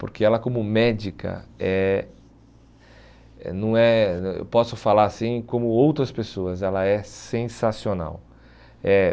Porque ela como médica, eh eh não é eu posso falar assim como outras pessoas, ela é sensacional. É